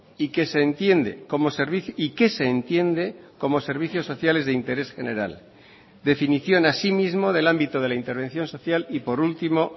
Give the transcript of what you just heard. y que se entiende como servicio y qué se entiende como servicios sociales de interés general definición asimismo del ámbito de la intervención social y por último